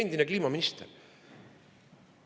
Endine kliimaminister!